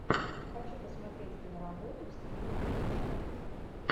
хочу посмотреть киноработу в стиле приключений